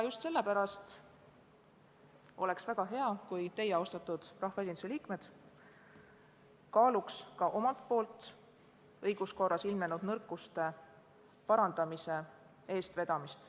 Just sellepärast oleks väga hea, kui teie, austatud rahvaesinduse liikmed, kaaluksite ka omalt poolt õiguskorras ilmnenud nõrkuste parandamise eestvedamist.